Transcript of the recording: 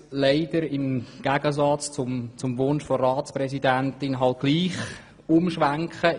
Leider muss ich entgegen des Wunsches der Ratspräsidentin gleichwohl umschwenken.